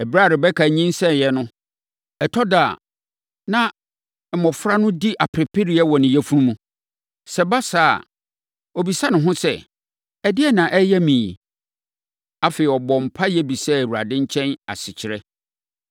Ɛberɛ a Rebeka nyinsɛneeɛ no, ɛtɔ da a, na mmɔfra no di apereapereɛ wɔ ne yafunu mu. Sɛ ɛba saa a, ɔbisa ne ho sɛ, “Ɛdeɛn na ɛreyɛ me yi?” Afei, ɔbɔɔ mpaeɛ bisaa Awurade nkyɛn asekyerɛ.